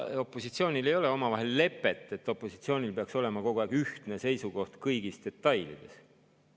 Opositsioonil ei ole omavahel lepet, et opositsioonil peaks olema kogu aeg ühtne seisukoht kõigis detailides.